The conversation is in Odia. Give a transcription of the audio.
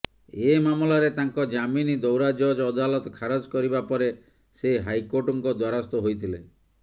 ଏହି ମାମଲାରେ ତାଙ୍କ ଜାମିନ ଦୌରା ଜଜ୍ ଅଦାଲତ ଖାରଜ କରିବା ପରେ ସେ ହାଇକୋର୍ଟଙ୍କ ଦ୍ୱାରସ୍ଥ ହୋଇଥିଲେ